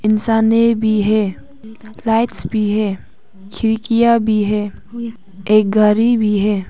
इंसाने भी है। लाइट्स भी है। खिड़कियां भी है। एक गरी भी है।